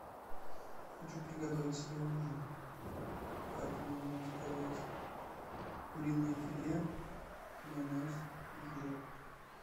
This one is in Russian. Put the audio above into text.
хочу приготовить себе ужин поэтому мне надо заказать куриное филе майонез и хлеб